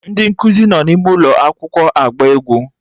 Ndị nkụzi nọ n'ime ụlọ akwụkwọ agba egwu